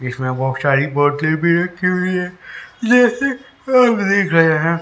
इसमें बहोत सारे बोतले रखे हुई हैं जैसे हम देख रहे हैं।